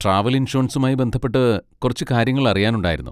Travel ഇൻഷുറൻസുമായി ബന്ധപ്പെട്ട് കുറച്ച് കാര്യങ്ങൾ അറിയാനുണ്ടായിരുന്നു.